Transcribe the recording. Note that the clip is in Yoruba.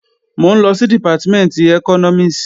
Mò ń lọ sí Dìpátímẹ̀ntì ẹkọ́nọ́mìs